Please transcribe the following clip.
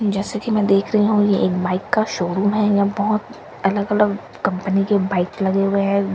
जैसा कि मैं देख रही हूं ये एक बाइक का शोरूम हैं। यहां बहोत अलग अलग कंपनी के बाइक लगे हुए है।